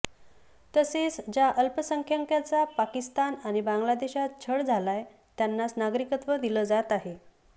तसेच ज्या अल्पसंख्याकांचा पाकिस्तान आणि बांगलादेशात छळ झालाय त्यांनाच नागरिकत्व दिलं जात आहे